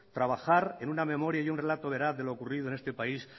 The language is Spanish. trabajar en una memoria y un relato veraz de lo ocurrido en este país